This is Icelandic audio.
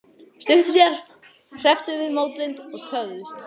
Stuttu síðar hrepptum við mótvind og töfðumst.